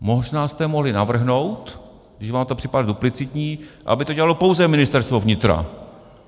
Možná jste mohli navrhnout, když vám to připadá duplicitní, aby to dělalo pouze Ministerstvo vnitra.